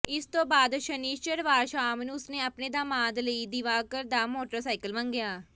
ਇਸ ਤੋਂ ਬਾਅਦ ਸ਼ਨਿਚਰਵਾਰ ਸ਼ਾਮ ਨੂੰ ਉਸਨੇ ਆਪਣੇ ਦਾਮਾਦ ਲਈ ਦਿਵਾਕਰ ਦਾ ਮੋਟਰਸਾਈਕਲ ਮੰਗਿਆ